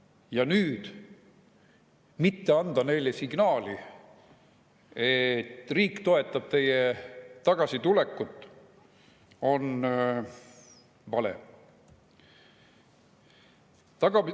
Ja nüüd mitte anda neile signaali, et riik toetab nende tagasitulekut, on vale.